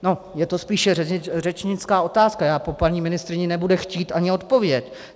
Je to spíše řečnická otázka, já po paní ministryni nebudu chtít ani odpověď.